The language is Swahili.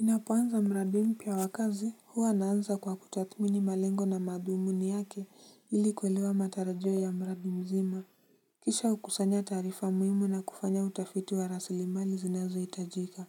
Ninapoanza mradi mpya wa kazi, huwa naanza kwa kutathmini malengo na madhumuni yake ili kuelewa matarajio ya mradi mzima. Kisha hukusanya taarifa muhimu na kufanya utafiti wa rasili mali zinazohitajika.